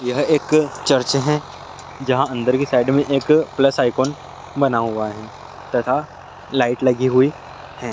एक चर्च है जहां अन्दर के साइड में एक प्लस आइकोन बना हुआ है तथा लाइट लगी हुई है।